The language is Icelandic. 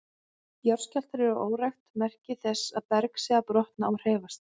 Jarðskjálftar eru óræk merki þess að berg sé að brotna og hreyfast.